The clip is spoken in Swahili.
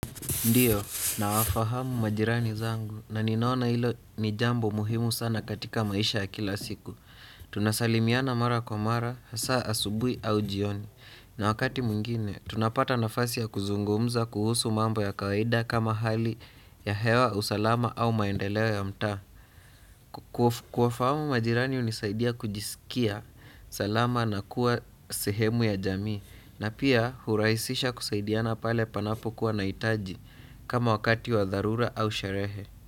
Ndiyo, nawafahamu majirani zangu na ninaona ilo ni jambo muhimu sana katika maisha ya kila siku. Tunasalimiana mara kwa mara, asa asubui au jioni. Na wakati mwingine, tunapata nafasi ya kuzungumza kuhusu mambo ya kawaida kama hali ya hewa usalama au maendeleo ya mtaa. Kuwafahamu majirani hunisaidia kujisikia salama na kuwa sehemu ya jamii. Na pia hurahisisha kusaidiana pale panapokuwa naitaji kama wakati wa dharura au sherehe.